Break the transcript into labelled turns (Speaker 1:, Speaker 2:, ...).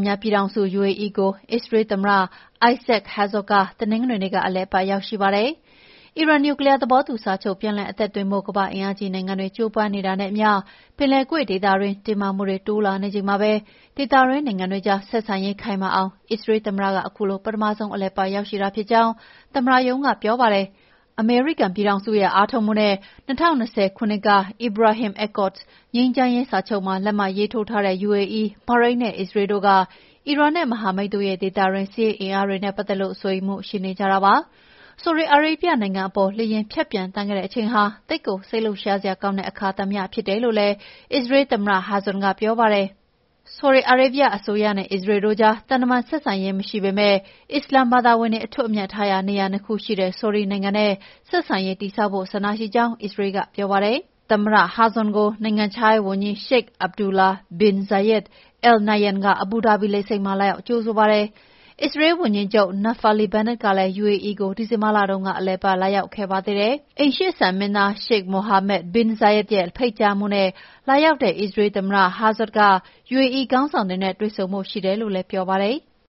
Speaker 1: များပြည်ထောင်စု (UAE) ကို အစ္စရေးလ်သမ္မတ Isaac Herzog တနင်္ဂနွေနေ့က အလည်အပတ် ရောက်ရှိပါတယ်။ အီရန် နျူကလီးယား သဘောတူစာချုပ် ပြန်လည်အသက်သွင်းဖို့ ကမ္ဘာ့အင်အားကြီးနိုင်ငံတွေ ကြိုးပမ်းနေတာနဲ့အမျှ ပင်လယ်ကွေ့ဒေသတွင်း တင်းမာမှုတွေ တိုးလာနေချိန်မှာပဲ ဒေသတွင်း နိုင်ငံတွေကြား ဆက်ဆံရေးခိုင်မာအောင် အစ္စရေးလ်သမ္မတ ခုလို ပထမဆုံး အလည်အပတ် ရောက်လာတာဖြစ်ကြောင်း သမ္မတရုံးက ပြောပါတယ်။ အမေရိကန်ရဲ့ အားထုတ်မှုနဲ့ ၂၀၂၀ ခုနှစ်က "Abraham Accords” ငြိမ်းချမ်းရေးစာချုပ်မှာ လက်မှတ်ရေးထိုးထားတဲ့ UAE၊ ဘာရိန်းနဲ့ အစ္စရေးလ်တို့က အီရန်နဲ့ မဟာမိတ်တို့ရဲ့ ဒေသတွင်း စစ်ရေးအင်အားတွေနဲ့ ပတ်သက်လို့ စိုးရိမ်မှု ရှိနေကြတာပါ။ ဆော်ဒီအာရေဗျနိုင်ငံအပေါ် လေယာဉ်ဖြတ်ပျံသန်းခဲ့တဲ့ အချိန်ဟာ သိပ်ကို စိတ်လှုပ်ရှားစရာကောင်းတဲ့ အခါသမယ ဖြစ်တယ်လို့လည်း အစ္စရေးလ်သမ္မတ Herzog က ပြောပါတယ်။ ဆော်ဒီအာရေဗျအစိုးရနဲ့ အစ္စရေးလ်တို့ကြား သံတမန်ဆက်ဆံရေး မရှိပေမယ့် အစ္စလာမ်ဘာသာဝင်တွေ အထွတ်အမြတ်ထားရာနေရာ ၂ ခုရှိတဲ့ ဆော်ဒီနိုင်ငံနဲ့ ဆက်ဆံရေးတည်ဆောက်ဖို့ ဆန္ဒရှိကြောင်း အစ္စရေးလ်က ပြောပါတယ်။ သမ္မတ Herzog ကို နိုင်ငံခြားရေးဝန်ကြီး Sheikh Abdullah bin Zayed Al Nahyan က အဘူဒါဘီလေဆိပ်မှာ လာရောက်ကြိုဆိုပါတယ်။ အစ္စရေးလ်ဝန်ကြီးချုပ် Naftali Bennett ကလည်း UAE ကို ဒီဇင်ဘာလတုန်းက အလည်အပတ် လာရောက်ခဲ့ပါသေးတယ်။ အိမ်ရှေ့စံမင်းသား Sheikh Mohammed bin Zayed ရဲ့ ဖိတ်ကြားမှုနဲ့ လာရောက်တဲ့ အစ္စရေးလ်သမ္မတ Herzog က UAE ခေါင်းဆောင်တွေနဲ့ တွေ့ဆုံဖို့ ရှိတယ်လို့လည်း ပြောပါတယ်။